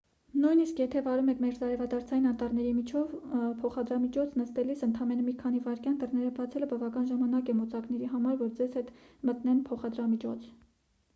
նույնիսկ եթե վարում եք մերձարևադարձային անտառների միջով փոխադրամիջոց նստելիս ընդամենը մի քանի վայրկյան դռները բացելը բավական ժամանակ է մոծակների համար որ ձեզ հետ մտնեն փոխադրամիջոց